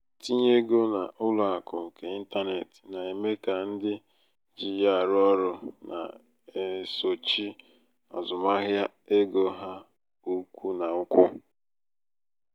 itinye ego n'ụlọ akụ nke ịntanetị na-eme ka ndị ji ya arụ ọrụ na-esochi azụmahịa ego ha ụkwụ na ụkwụ.